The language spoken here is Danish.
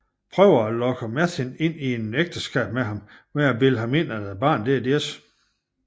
Prøver at lokke Merthin ind i et ægteskab med ham ved at bilde ham ind at barnet er deres